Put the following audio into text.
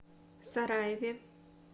сараеве